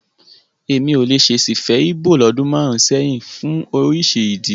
Èmi ò lè ṣèṣì fẹ́ Íbò lọ́dún márùn-ún sẹ́yìn fún oríṣi ìdí.